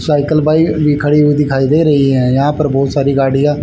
cycle bike भी खड़ी हुई दिखाई दे रही है यहां पर बहुत सारी गाड़ियां --